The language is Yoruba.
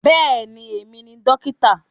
Bẹ́ẹ̀ni, èmi ni dókítà